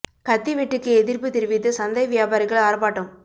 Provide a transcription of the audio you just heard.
கத்தி வெட்டுக்கு எதிர்ப்புத் தெரிவித்து சந்தை வியாபாரிகள் ஆர்ப்பாட்டம்